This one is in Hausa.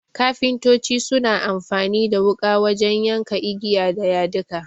Kafintoci suna amfani da wuƙa wajen ya ka igiya da yadika.